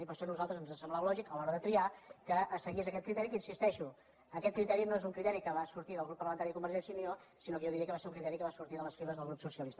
i per això a nosaltres ens semblava lògic a l’hora de triar que se seguís aquest criteri que hi insisteixo no és un criteri que va sortir del grup parlamentari de convergència i unió sinó que jo diria que va ser un criteri que va sortir de les files del grup socialista